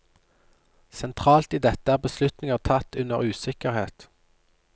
Sentralt i dette er beslutninger tatt under usikkerhet.